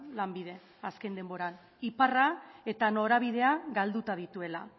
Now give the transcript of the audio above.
lanbide azken denboran iparra eta norabidea galduta dituela